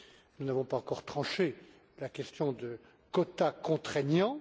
Nous n'avons pas encore tranché la question des quotas contraignants.